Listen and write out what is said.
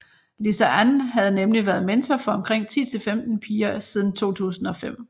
Lisa Ann havde nemlig været mentor for omkring 10 til 15 piger siden 2005